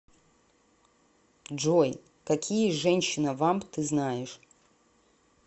джой какие женщина вамп ты знаешь